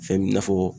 Fɛn bi na fɔ